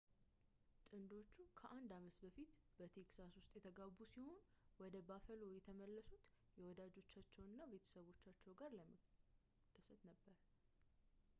ጥንዶቹ ከአንድ አመት በፊት በtexas ውስጥ የተጋቡ ሲሆን ወደ buffalo የተመለሱት ከወዳጆቻቸውና ቤተሰቦቻቸው ጋር ለመደሰት ነበር